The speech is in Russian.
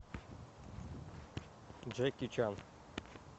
джеки чан